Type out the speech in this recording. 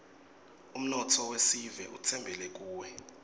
umnotfo wesive utsembele kuwe